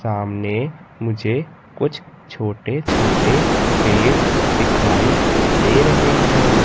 सामने मुझे कुछ छोटे छोटे पेड़ दिखाई दे रहे हैं।